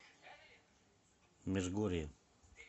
межгорье